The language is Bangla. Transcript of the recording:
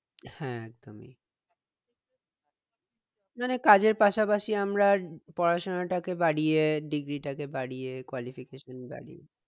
হ্যাঁ একদম মানে কাজের পাশাপাশি আমরা পড়াশোনা টাকে বাড়িয়ে degree বাড়িয়ে qualification বাড়িইয়ে